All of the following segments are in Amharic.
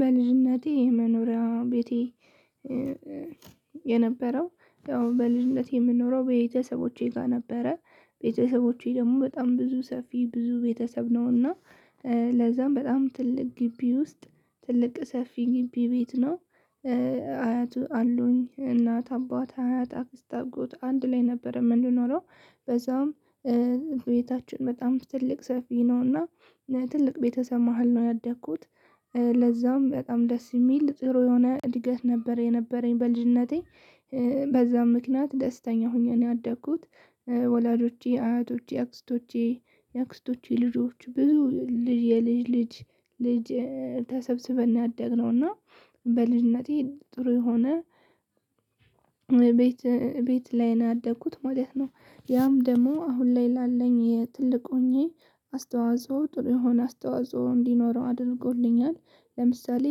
በልጅነቴ የመኖሪያ ቤቴ የነበረው በልጅነቴ የምንኖረው በቤተሰቦቼ ጋር ነበረ። ቤተሰቦቼ ደግሞ በጣም ብዙ ሰፊ ብዙ ቤተሰብ ነውና ለዛም በጣም ትልቅ ግቢ ውስጥ ትልቅ ሰፊ ግቢ ቤት ነው። አያት አሉኝ እናት፣ አባት፣ አያት፣ አክስት፣ አጎት አንድ ላይ ነበረ የምንኖረው ለዛም ቤታችን በጣም ትልቅ ሰፊ ነውና በትልቅ ቤተሰብ መሃል ነው ያደግኩት። ለዛም በጣም ደስ የሚል ጥሩ የሆነ እድገት ነበረ የነበረኝ በልጅነቴ በዛም ምክንያት ደስተኛ ሆኜ ነው ያደኩት። ወላጆቼ፣ አያቶቼ፣ አክስቶቼ፣ የአክስቶቼ ልጆች ብዙ ልጅ የልጅ ልጅ ልጅ ተሰብስበን ነው ያደግነው እና በልጅነቴ ጥሩ የሆነ ቤት ላይ ነው ያደኩት ማለት ነው ያም ደግሞ አሁን ላይ ላለኝ ትልቅ ሆኜ አስተዋጽኦ ጥሩ የሆነ አስተዋጽኦ እንዲኖረው አድርጎልኛል። ለምሳሌ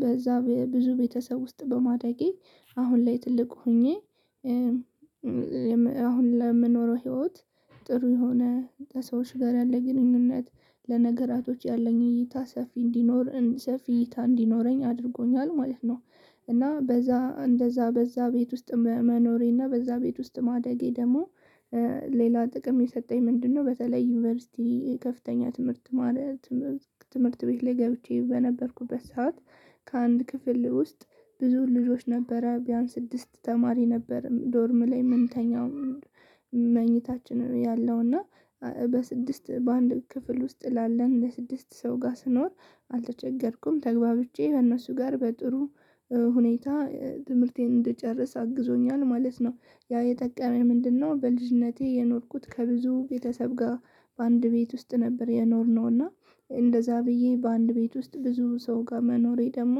በዛ ብዙ ቤተሰብ ውስጥ በማደጌ አሁን ላይ ትልቅ ሆኜ አሁን ለምኖረው ህይዎት ጥሩ የሆነ ከሰወች ጋር ያለኝን ግንኙነት ለነገራቶች ያለኝ እይታ ሰፊ እይታ እንዲኖረኝ አድርጎኛል ማለት ነው። እና በዛ እንደዛ በዛ ቤት ውስጥ መኖሬና በዛ ቤት ውስጥ ማደጌ ደግሞ ሌላ ጥቅም የሰጠኝ ምንድነው? በተለይ ዩኒቨርሲቲ ከፍተኛ ትምህርት ማለት ትምህርት ቤት ላይ ገብቼ በነበርኩበት ሰዓት ከአንድ ክፍል ውስጥ ብዙ ልጆች ነበረ ቢያንስ ስድስት ተማሪ ነበረ ዶርም ላይ ምንተኛው መኝታችን ያለው እና በስድስት በአንድ ክፍል ውስጥ ላለን ለስድስት ሰው ጋር ስኖር አልተቸገርኩም። ተግባብቸ በእነሱ ጋር በጥሩ ሁኔታ ትምህርቴን እንድጨረሰ አግዞኛል ማለት ነው። ያ የጠቀመኝ ምንድነው? በልጅነቴ የኖርኩት ከብዙ ቤተሰብ ጋር በአንድ ቤት ውስጥ ነበር የኖርነው እና እንደዛ ብዬ በአንድ ቤት ውስጥ ብዙ ሰው ጋር መኖሬ ደግሞ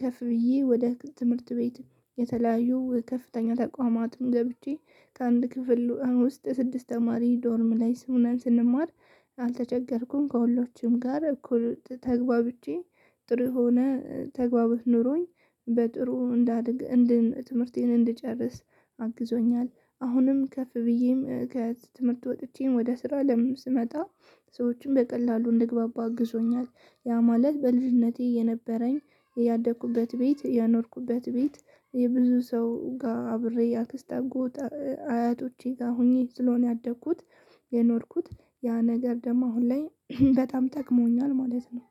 ከፍ ብዬ ወደ ትምህርት ቤት የተለያዩ ከፍተኛ ተቋማትም ገብቼ ከአንድ ክፍል ውስጥ ስድስት ተማሪ ዶርም ላይ ሁነን ስንማር አልተቸገርኩም ከሁሎችንም ጋር እኮ ተግባብቸ ጥሩ የሆነ ተግባቦት ኖሮኝ በጥሩ እንዳድግ ትምህርቴን እንድጨርስ አግዞኛል አሁንም ከፍ ብዬም ከትምህርት ወጥቼም ወደ ስራ አለም ስመጣ ሰዎችን በቀላሉ እንድግባባ አግዞኛል። ያ ማለት በልጅነቴ የነበረኝ ያደኩበት ቤት የኖርኩበት ቤት የብዙ ሰው ጋር አብሬ የአክስት አጎት አያቶቼ ጋር ሆኜ ስለሆነ ያደግኩት የኖርኩት ያ ነገር ደግሞ አሁን ላይ በጣም ጠቅሞኛል ማለት ነው።